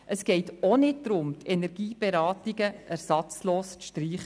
Es geht auch nicht darum, die kantonalen Energieberatungen ersatzlos zu streichen.